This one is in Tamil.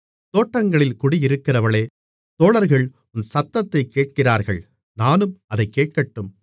தோட்டங்களில் குடியிருக்கிறவளே தோழர்கள் உன் சத்தத்தைக் கேட்கிறார்கள் நானும் அதைக் கேட்கட்டும் மணவாளி